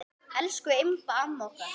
Elsku Imba amma okkar.